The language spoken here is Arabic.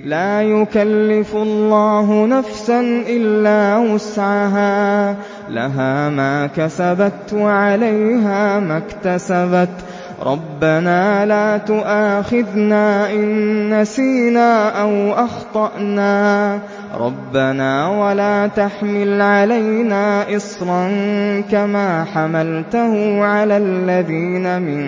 لَا يُكَلِّفُ اللَّهُ نَفْسًا إِلَّا وُسْعَهَا ۚ لَهَا مَا كَسَبَتْ وَعَلَيْهَا مَا اكْتَسَبَتْ ۗ رَبَّنَا لَا تُؤَاخِذْنَا إِن نَّسِينَا أَوْ أَخْطَأْنَا ۚ رَبَّنَا وَلَا تَحْمِلْ عَلَيْنَا إِصْرًا كَمَا حَمَلْتَهُ عَلَى الَّذِينَ مِن